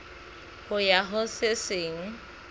ho ya ho se seng